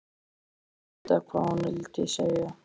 Mér finnst ég vita hvað hún vildi segja.